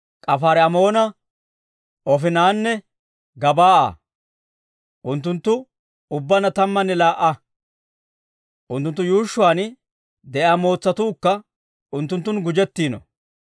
Kaafaari-Amoona, Oofinanne Gebaa'a. Unttunttu ubbaanna tammanne laa"a; unttunttu yuushshuwaan de'iyaa mootsatuukka unttunttun gujjettiino.